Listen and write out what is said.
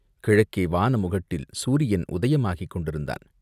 கிழக்கே வானமுகட்டில் சூரியன் உதயமாகிக் கொண்டிருந்தான்.